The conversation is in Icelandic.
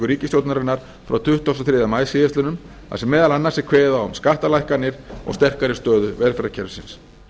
ríkisstjórnarinnar frá tuttugasta og þriðja maí síðastliðinn þar sem meðal annars er kveðið á um skattalækkanir og sterkari stöðu velferðarkerfisins